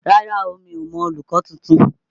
Rárá o, mi ò mọ olùkọ́ tuntun.